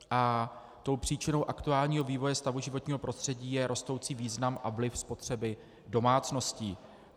A tou příčinou aktuálního vývoje stavu životního prostředí je rostoucí význam a vliv spotřeby domácností.